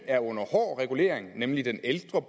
er under hård regulering nemlig den ældre